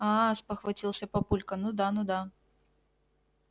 аа спохватился папулька ну да ну да